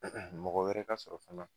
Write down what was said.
Mɔgɔ wɛrɛ ka sɔrɔ fana